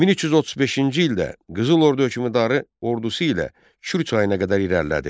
1335-ci ildə Qızıl ordu hökmdarı ordusu ilə Kür çayına qədər irəlilədi.